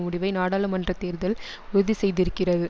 முடிவை நாடாளுமன்ற தேர்தல் உறுதிசெய்திருக்கிறது